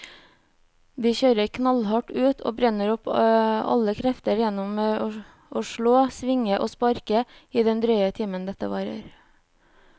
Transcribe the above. De kjører knallhardt ut og brenner opp alle krefter gjennom å slå, svinge og sparke i den drøye timen dette varer.